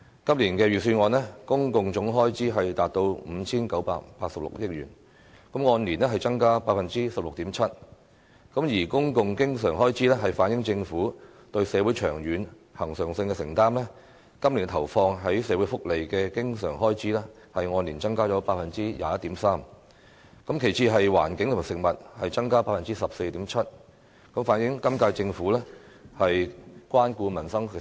今年預算案的公共總開支達到 5,986 億元，按年增加 16.7%， 而公共經常開支反映政府對社會長遠及恆常的承擔，今年投放在社會福利的經常開支按年增加 21.3%， 其次是環境和食物，增加 14.7%， 反映本屆政府關顧民生需要。